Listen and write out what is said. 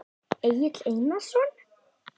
Egill Einarsson?